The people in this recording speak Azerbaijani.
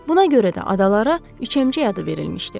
Buna görə də adalara üçəmcək adı verilmişdi.